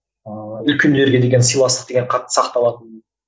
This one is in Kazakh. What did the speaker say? ыыы үлкендерге деген сыйластық деген қатты сақталатын